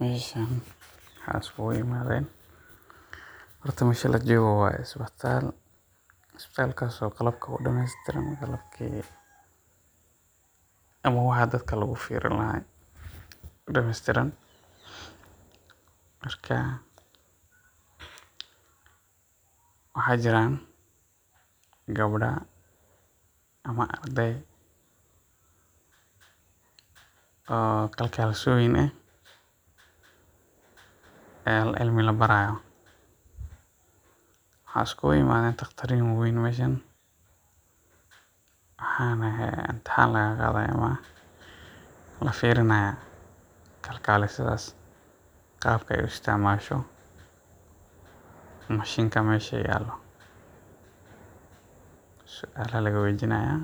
Meeshaan maxaa isku imadeen ? Horta, meesha la joogo waa isbitaal. Isbitaalkaas oo qalab dhamaystiran la geeyey ama waxa dadka lagu furi lahaa oo dhamaystiran. Marka maxaa jiraan? Gabdho ama arday ah oo kalkaaliyeyaal ah oo cilmi la baraayo. Maxaa isku imadaay? Dhaqaatiir waa weyn ayaa yimid, waxaana imtixaan laga qaadayaa ama la fiirinayaa kalkaaliyeyaasha sida ay u isticmaalaan machine-ka meesha yaallo. Su’aalo ayaa laga weydiinayaa,